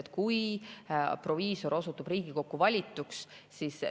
kui proviisor osutub Riigikokku valituks?